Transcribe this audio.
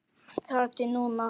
Þar til núna.